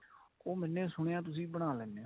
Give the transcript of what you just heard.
ਉਹ ਮੈਨੇ ਸੁਣਿਆ ਤੁਸੀਂ ਬਣਾ ਲੈਨੇ ਓ